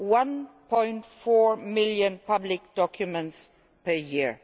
1.4 million public documents per year.